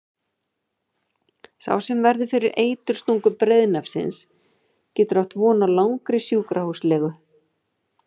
Sá sem verður fyrir eiturstungu breiðnefsins getur átt von á langri sjúkrahúslegu.